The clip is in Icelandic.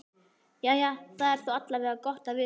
Jæja, það er þó alla vega gott að vita.